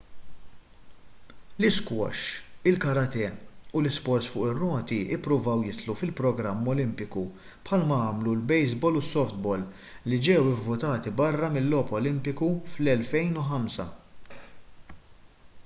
l-isquash il-karate u l-isports fuq ir-roti ppruvaw jidħlu fil-programm olimpiku bħalma għamlu l-baseball u s-softball li ġew ivvutati barra mill-logħob olimpiku fl-2005